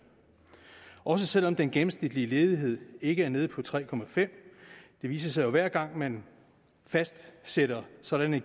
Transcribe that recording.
også selv om den gennemsnitlige ledighed ikke er nede på tre det viser sig jo hver gang man fastsætter sådanne